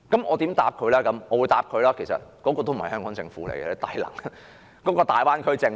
我說："這個已不再是香港政府，而是大灣區政府。